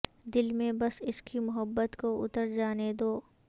دل میں بس اسکی محبت کو اتر جانے دو